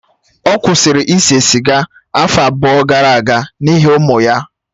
Ọ kwụsịrị ise sịga afọ abụọ gara aga n'ihi ụmụ ya